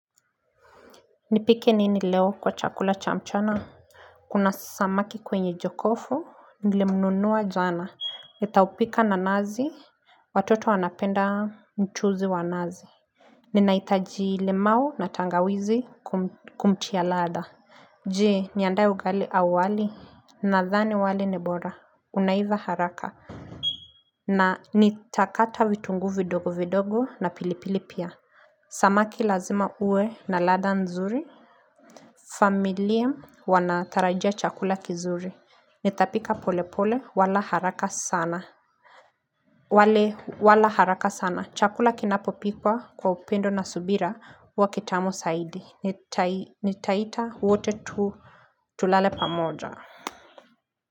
Nipike nini leo kwa chakula cha mchana Kuna samaki kwenye jokofu nilimnunua jana nitaupika na nazi watoto wanapenda mchuzi wa nazi Ninahitaji lemau na tangawizi kumtia ladha Jee niandae ugali au wali nadhani wali ni bora unaiva haraka na nitakata vitungu vidogo vidogo na pilipili pia Samaki lazima uwe na ladha nzuri familia wanatarajia chakula kizuri. Nitapika pole pole wala haraka sana. Wale wala haraka sana. Chakula kinapopikwa kwa upendo na subira hua kitamu saidi. Nitaita wote tu tulale pamoja.